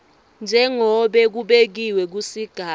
njengobe kubekiwe kusigaba